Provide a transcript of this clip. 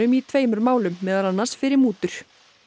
í tveimur málum meðal annars fyrir mútur